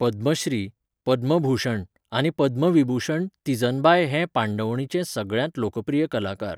पद्मश्री, पद्मभूषण, आनी पद्मविभूषण तीजनबाय हें पांडवणीचे सगळ्यांत लोकप्रिय कलाकार.